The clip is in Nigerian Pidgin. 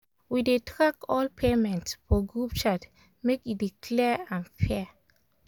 we dey track all payment for group chat make e dey clear and fair